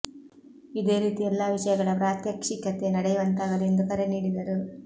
ಇದೇ ರೀತಿ ಎಲ್ಲ ವಿಷಯಗಳ ಪ್ರಾತ್ಯಕ್ಷಿಕತೆ ನಡೆಯುವಂತಾಗಲಿ ಎಂದು ಕರೆ ನೀಡಿದರು